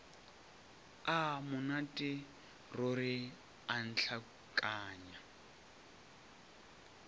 a monate ruri a ntlhakanya